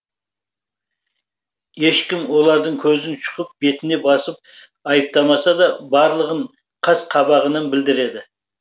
ешкім олардың көзін шұқып бетіне басып айыптамаса да барлығын қас қабағымен білдіреді